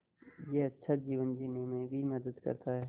यह अच्छा जीवन जीने में भी मदद करता है